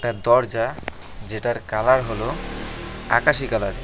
দরজা যেটার কালার হল আকাশি কালার।